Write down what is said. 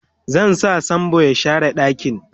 zan sa sambo ya share ɗakin